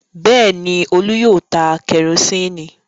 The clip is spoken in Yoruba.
Bẹ́ẹ̀ ni, Olú yóò ta kẹrósíínì.